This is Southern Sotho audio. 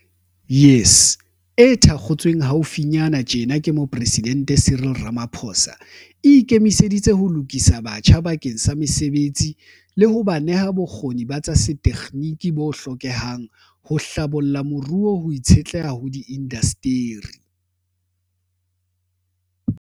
YES, e thakgotsweng hau finyana tjena ke Moporesidente Cyril Ramaphosa, e ikemiseditse ho lokisa batjha bakeng sa mesebetsi le ho ba neha bokgoni ba tsa setekginiki bo hlokehang ho hlabolla moruo ho itshetleha ho diindasteri.